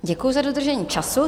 Děkuji za dodržení času.